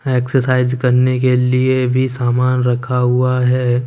Exercise करने के लिए भी सामान रखा हुआ है।